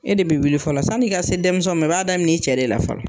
E de bɛ wuli fɔlɔ, san'i ka se dɛmisɛnw ma i b'a daminɛ i cɛ de la fɔlɔ.